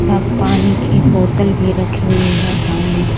अब पानी की एक बोतल भी रखी हुई है सामने --